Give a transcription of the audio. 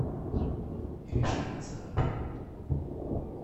иришкой назаровой